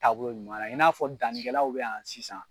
taabolo ɲuman in n'a fɔ dani kɛlaw bɛ yan sisan.